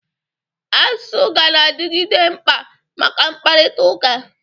Asụsụ ganadịgide mkpa maka mkpakụrịtaụka.